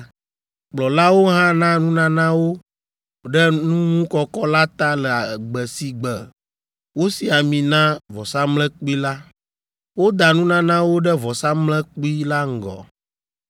Kplɔlawo hã na nunanawo ɖe nuŋukɔkɔ la ta le gbe si gbe wosi ami na vɔsamlekpui la. Woda nunanawo ɖe vɔsamlekpui la ŋgɔ.